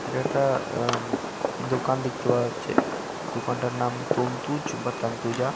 এটা একটা আম দোকান দেখতে পাওয়া যাচ্ছে। দোকানটার নাম তন্তুজ বা তান্তুজা।